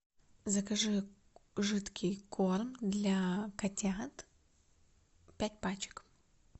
закажи жидкий корм для котят пять пачек